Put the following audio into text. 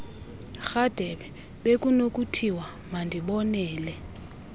rhadebe bekunokuthiwa mandibonele